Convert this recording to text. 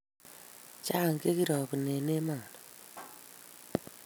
Cha che kirabun en emani